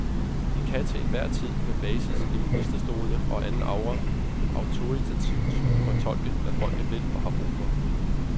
De kan til enhver tid, med basis i ministerstolene og anden aura, autoritativt fortolke, hvad folket vil og har brug for.